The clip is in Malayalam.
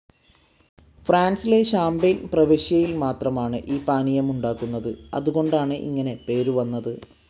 ഫ്രാൻസിലെ ഷാം‌പെയ്‌ൻ പ്രവിശ്യയിൽ മാത്രമാണ് ഈ പാനീയമുണ്ടാക്കുന്നത്.അതുകൊണ്ടാണ് ഇങ്ങനെ പേരു വന്നത്.